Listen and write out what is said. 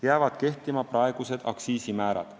Jäävad kehtima praegused aktsiisimäärad.